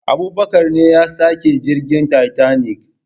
Abubakar ne yasaki jirgin tatanik